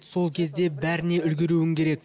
сол кезде бәріне үлгеруің керек